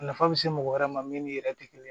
Nafa bɛ se mɔgɔ wɛrɛ ma min yɛrɛ tɛ kelen ye